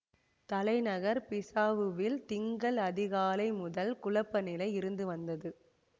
தலைநகர் பிசாவுவில் திங்கள் அதிகாலை முதல் குழப்பநிலை இருந்து வந்தது